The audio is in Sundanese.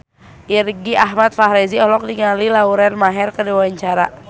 Irgi Ahmad Fahrezi olohok ningali Lauren Maher keur diwawancara